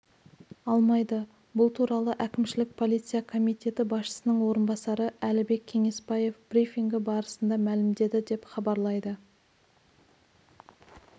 алмайды бұл туралы әкімшілік полиция комитеті басшысының орынбасары әлібек кеңеспаев брифингі барысында мәлімдеді деп хабарлайды